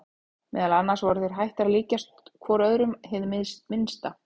Meðal annars voru þeir hættir að líkjast hvor öðrum hið minnsta.